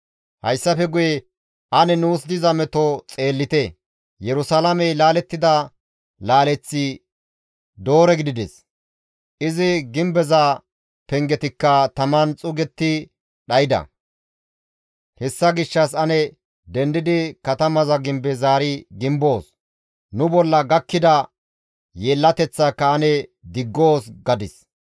Hayssafe guye, «Ane nuus diza meto xeellite! Yerusalaamey laalettida laaleththi doore gidides; izi gimbeza pengetikka taman xuugetti dhayda; hessa gishshas ane dendidi katamaza gimbe zaari gimboos; nu bolla gakkida yeellateththaaka ane diggoos» gadis.